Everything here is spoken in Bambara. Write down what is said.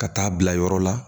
Ka taa bila yɔrɔ la